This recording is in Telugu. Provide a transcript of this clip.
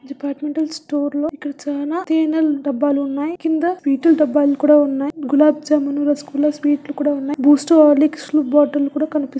డిపార్ట్మెంటల్ స్టోర్ లో ఇక్కడ చాలా తేనెల డబ్బాలు ఉన్నాయి. కింద విటల్ డబ్బాలు కూడా ఉన్నాయి. గులాబ్ జామున్ రసగుల్లా స్వీట్ లు కూడా ఉన్నాయి. బూస్ట్ హార్లిక్స్ లు బాటిల్ లు కూడా కనిపిస్తు